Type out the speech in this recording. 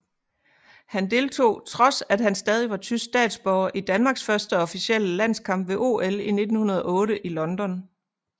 Han deltog trods at han stadig var tysk statsborger i Danmarks første officielle landskamp ved OL 1908 i London